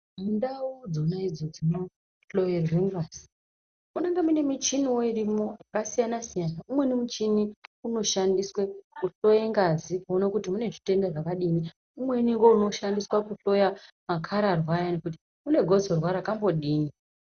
Ndau dzona idzo dzinohloyerwe ngazi munenge mune michiniwo iromwo yakasiyana-siyana. Umweni muchini unoshandiswe kuhloye ngazi kuone kuti mune zvitenda zvakadini. Umweni ngeunoshandiswa kuhloya makararwa ayani kuti unegotsorwa rakambodini.